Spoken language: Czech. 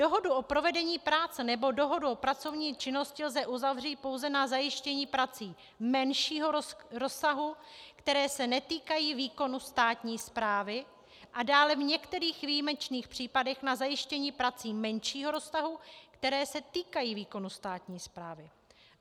Dohodu o provedení práce nebo dohodu o pracovní činnosti lze uzavřít pouze na zajištění prací menšího rozsahu, které se netýkají výkonu státní správy, a dále v některých výjimečných případech na zajištění prací menšího rozsahu, které se týkají výkonu státní správy.